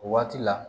O waati la